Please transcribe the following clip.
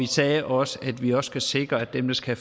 sagde også at vi skal sikre at dem der skal